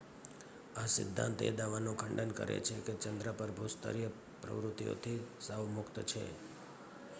આ સિદ્ધાંત એ દાવાનું ખંડન કરે છે કે ચન્દ્ર પર ભૂસ્તરીય પ્રવૃત્તિઓથી સાવ મુક્ત છે